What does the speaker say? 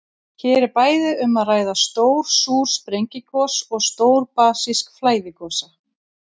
Hér er bæði um að ræða stór súr sprengigos og stór basísk flæðigosa.